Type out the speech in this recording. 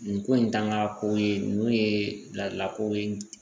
Nin ko in tanga ko ye ninnu ye bilakoro ye